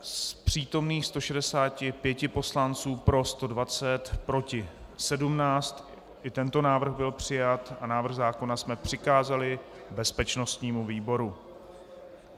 Z přítomných 164 poslanců pro 120, proti 17, i tento návrh byl přijat a návrh zákona jsme přikázali bezpečnostnímu výboru.